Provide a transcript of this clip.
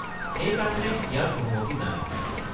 সেইকাৰণে ইয়াৰ অনুমতি নাই।